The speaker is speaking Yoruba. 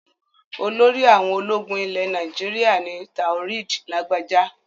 Olórí àwọn ológun ilẹ̀ Nàìjíríà ni Taoreed Lagbaja.